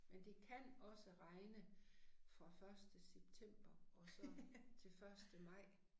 Men det kan også regne fra første september og så til første maj